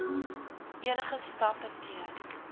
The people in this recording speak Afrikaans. enige stappe teen